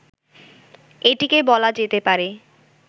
এটিকে বলা যেতে পারে